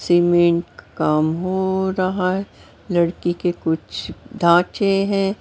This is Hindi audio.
सीमेंट काम हो रहा है लड़की के कुछ ढांचे हैं।